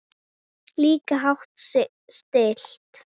Líka hátt stillt.